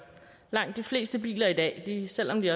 langt de fleste biler i dag kan selv om de